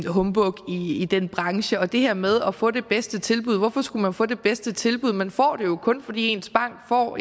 humbug i den branche og det her med at få det bedste tilbud hvorfor skulle man få det bedste tilbud man får det jo kun fordi ens bank får